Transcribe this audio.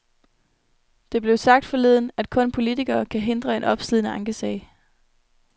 Det blev sagt forleden, at kun politikerne kan hindre en opslidende ankesag.